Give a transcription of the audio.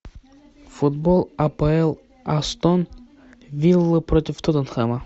футбол апл астон виллы против тоттенхэма